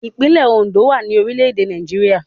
Ìpínlẹ̀ Òndó wà ní orílẹ̀ èdè Nàìjíríà